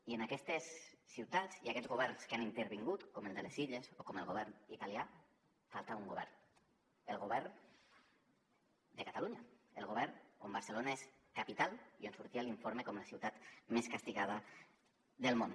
i en aquests governs que han intervingut com el de les illes o com el govern italià hi falta un govern el govern de catalunya el govern on barcelona és capital que sortia a l’informe com la ciutat més castigada del món